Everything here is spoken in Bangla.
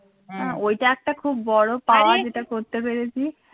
ওইটা একটা খুব বড় power যেটা করতে পেরেছিস